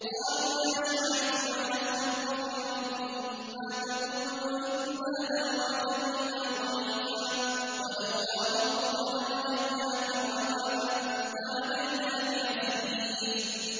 قَالُوا يَا شُعَيْبُ مَا نَفْقَهُ كَثِيرًا مِّمَّا تَقُولُ وَإِنَّا لَنَرَاكَ فِينَا ضَعِيفًا ۖ وَلَوْلَا رَهْطُكَ لَرَجَمْنَاكَ ۖ وَمَا أَنتَ عَلَيْنَا بِعَزِيزٍ